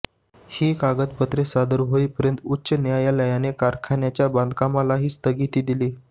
ही कागदपत्रे सादर होईपर्यंत उच्च न्यायालयाने कारखान्याच्या बांधकामालाही स्थगिती दिली